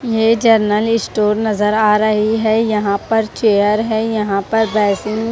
ये general store नजर आ रही है यहां पर चेयर है यहां पर बेसिन --